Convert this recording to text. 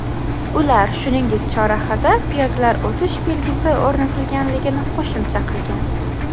Ular, shuningdek, chorrahada piyodalar o‘tish belgisi o‘rnatilganligini qo‘shimcha qilgan.